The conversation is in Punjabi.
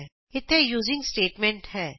ਇਥੇ ਯੂਜ਼ਿੰਗ ਸਟੇਟਮੈਂਟ ਹੈ